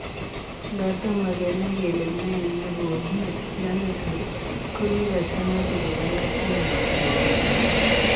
Ngaa toma kenai kelee nee negonuu mionitok ,ko kikochangaa tuguk alak cheimuchii kokon ako